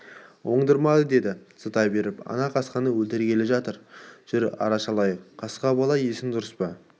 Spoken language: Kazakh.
оңдырмады деді зыта беріп ана қасқаны өлтіргелі жатыр жүр арашалайық қасқа бала есің дүрыс па